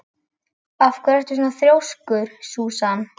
Af hverju ertu svona þrjóskur, Súsan?